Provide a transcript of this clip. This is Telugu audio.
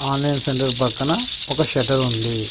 ఆన్లైన్ సెంటర్ పక్కన ఒక షట్టర్ ఉంది.